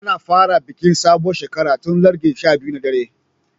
Ana fara bikin sabuwar shekara tun large 12 na dare.